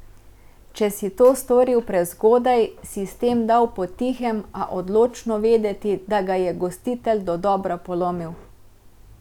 Če si to storil prezgodaj, si s tem dal potihem, a odločno vedeti, da ga je gostitelj dodobra polomil.